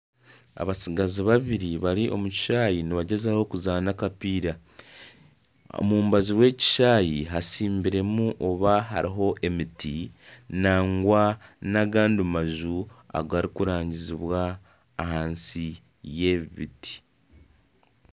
Abatsigazi babiri bari omu kishaayi nibagyezaho kuzaana akapiira. Omu mbaju rw'ekishayi hasimbiremu oba hariho emiti nangwa nagandi maju agarikurangizibwa ahansi y'ebibiti.